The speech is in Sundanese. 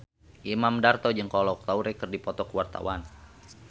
Imam Darto jeung Kolo Taure keur dipoto ku wartawan